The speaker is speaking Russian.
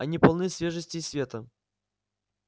они полны свежести и света